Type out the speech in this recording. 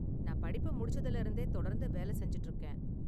நான் படிப்ப முடிச்சதுல இருந்தே தொடர்ந்து வேலை செஞ்சுட்டு இருக்கேன்.